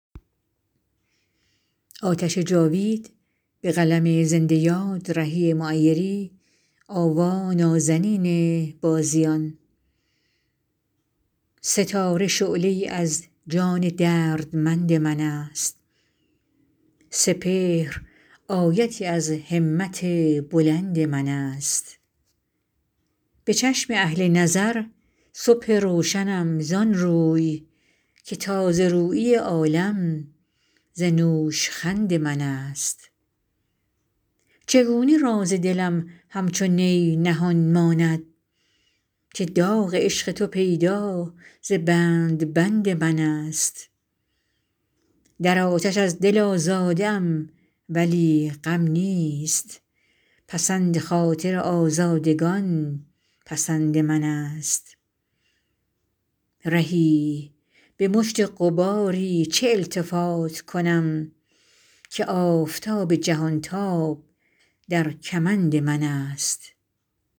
ستاره شعله ای از جان دردمند من است سپهر آیتی از همت بلند من است به چشم اهل نظر صبح روشنم زآن روی که تازه رویی عالم ز نوشخند من است چگونه راز دلم همچو نی نهان ماند که داغ عشق تو پیدا ز بند بند من است در آتش از دل آزاده ام ولی غم نیست پسند خاطر آزادگان پسند من است رهی به مشت غباری چه التفات کنم که آفتاب جهان تاب در کمند من است